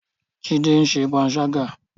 Jide ń ṣe panṣágà